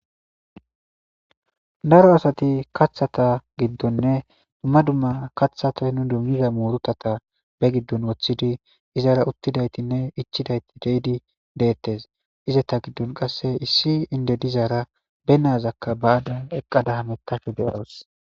Daro asati kathata giddonne dumma dumma kathatay nu dummida muurutata be giddon woththidi izara uttidaytinne ichidayti deydi deettes izeta giddon qasse issi inde dizaara be nazakka baadon eqqadaha hamethayda de7oos.